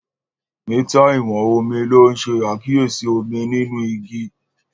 Mítà ìwọ̀n omi ló ń ṣe àkíyèsí omi nínú igi